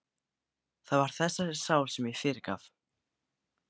Það var þessari sál sem ég fyrirgaf.